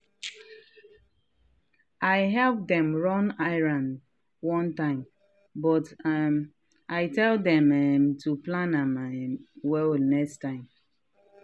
i help dem run errand one time but um i tell dem um to plam am um well next time.